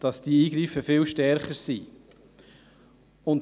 Dies wurde von weiten Kreisen wahrgenommen.